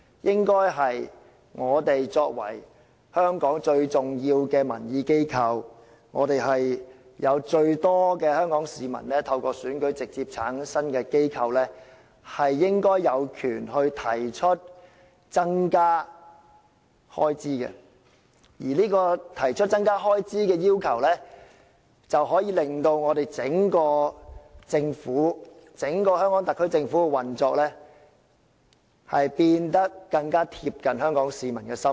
立法會是香港最重要的民意機構，是有最多市民參與、透過選舉而直接產生的機構，應該有權提出增加開支，而提出增加開支的要求，可以令整個香港特區政府的運作變得更貼近香港市民的心意。